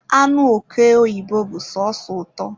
anụ oke oyibo bụ sọsọ ụtọ